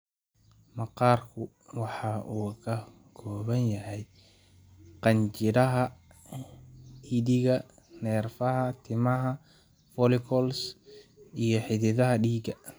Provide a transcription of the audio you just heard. Maqaarku waxa uu ka kooban yahay qanjidhada dhididka, neerfaha, timaha follicles, iyo xididdada dhiigga.